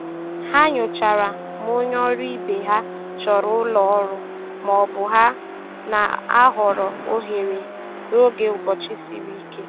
Ha nyochara ma onye ọrụ ibe ha chọrọ ụlọ ọrụ ma ọ bụ na-ahọrọ ohere n'oge ụbọchị siri ike.